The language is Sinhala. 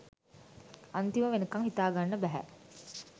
අන්තිම වෙනකම් හිතාගන්න බැහැ